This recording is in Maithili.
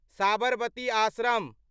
साबरमती आश्रम